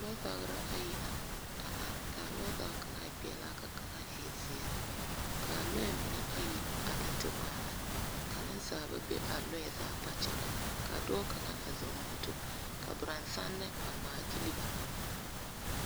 Lͻͻzagera ayi la a are. ka a lͻͻzage kaŋa e peԑlaa ka kaŋa e zeԑ. Kaa lͻͻ mine ayi a la te waana. Ka nensaaba be a lͻͻ zaa kpakyagaŋ. Ka dͻͻ kaŋa a zͻͻ moto, ka borͻnsanne a ŋmaa gyili ba.